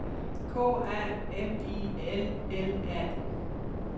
K A M I L L A